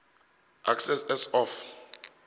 excess as of